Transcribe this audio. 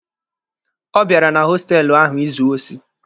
Ọ bịara na hostelụ ahụ izu osi.